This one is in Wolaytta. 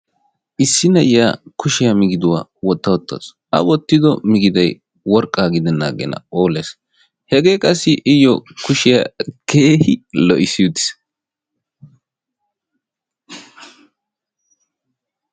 Issi na'iya kushiya migiduwaa Wotta uttaasu. A wottido migidoy worqqaa gidennan aggenna phooles. Hegee qassi iyyo kushiyaa keehi lo"issi uttiis.